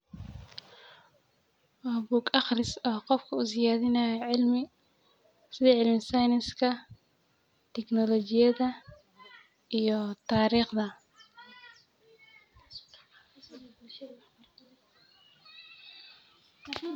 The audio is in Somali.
Waa bug aqris oo qofka u siyaadinayo cilmi, sidi cilmi siyanska, teknolojiyada iyo tariqda